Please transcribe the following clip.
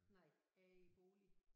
Nej jeg er i bolig